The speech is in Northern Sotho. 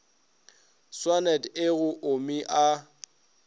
swanet e go omi a